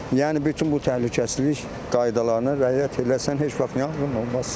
Yəni bütün bu təhlükəsizlik qaydalarına rəayət eləsən heç vaxt yanğın olmaz.